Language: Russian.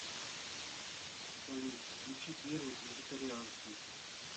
салют включи первый вегетарианский